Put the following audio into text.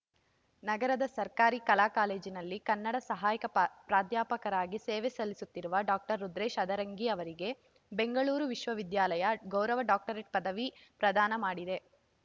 ನಗರದ ಸರ್ಕಾರಿ ಕಲಾ ಕಾಲೇಜಿನಲ್ಲಿ ಕನ್ನಡ ಸಹಾಯಕ ಪ ಪ್ರಾಧ್ಯಾಪಕರಾಗಿ ಸೇವೆ ಸಲ್ಲಿಸುತ್ತಿರುವ ಡಾಕ್ಟರ್ ರುದ್ರೇಶ್‌ ಅದರಂಗಿ ಅವರಿಗೆ ಬೆಂಗಳೂರು ವಿಶ್ವವಿದ್ಯಾಲಯ ಗೌರವ ಡಾಕ್ಟರೇಟ್‌ ಪದವಿ ಪ್ರದಾನ ಮಾಡಿದೆ